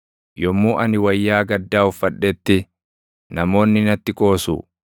Yommuu ani wayyaa gaddaa uffadhetti, namoonni natti qoosu.